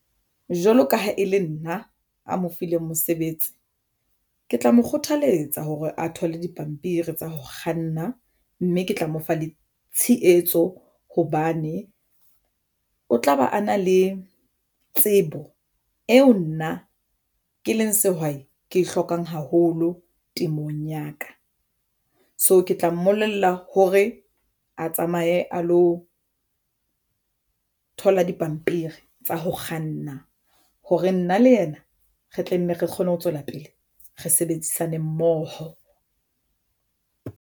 Jwalo ka ha e le nna a mo fileng mosebetsi ke tla mo kgothaletsa hore a thole dipampiri tsa ho kganna mme ke tla mo fa le tshehetso hobane o tla ba a na le tsebo eo nna ke le sehwai ke e hlokang haholo temong ya ka. So ke tla mmolella hore a tsamaye mahe a lo thola dipampiri tsa ho kganna hore nna le yena re tla nne re kgone ho tswela pele re sebedisane mmoho.